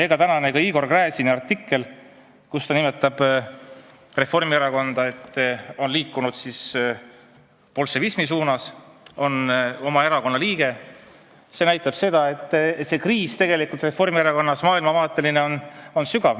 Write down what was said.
Ka tänane Igor Gräzini, selle erakonna liikme artikkel, kus ta nimetab, et Reformierakond on liikunud bolševismi suunas, näitab, et kriis Reformierakonnas on maailmavaateline ja sügav.